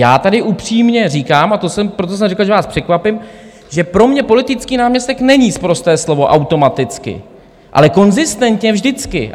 Já tady upřímně říkám, a proto jsem řekl, že vás překvapím, že pro mě politický náměstek není sprosté slovo automaticky, ale konzistentně vždycky.